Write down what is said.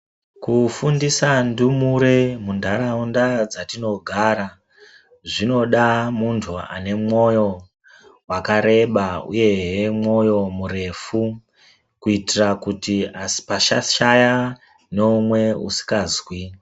Kufundisa ndumure mundaraunda dzatiogara zvinoda muntu ane mwoyo wakareba uye hee mwoyo murefu kuitira kuti pasashaya noumwe usingazwi.